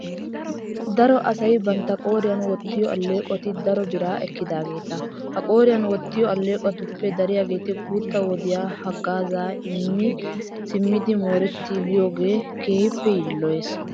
Daro asay bantta qooriyan wottiyo alleeqoti daro biraa ekkidaageeta. Ha qooriyan wottiyo alleeqotuppe dariyageeti guutta wodiya haggaazaa immi simmidi moorettiiggiyogee keehippe yiilloyees.